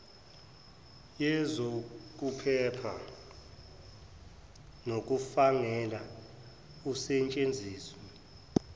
yezokuphepha nokungafanele usetshenziselwe